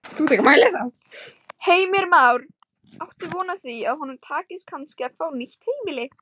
Heimir Már: Áttu von á því að honum takist kannski að fá nýtt heimili?